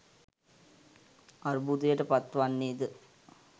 අර්බුදයටපත් වන්නේ ද